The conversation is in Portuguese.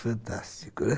Fantástico, não é?